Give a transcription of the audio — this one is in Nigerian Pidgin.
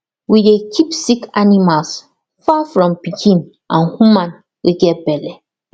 we dey keep sick animals far from pikin and woman wey get belle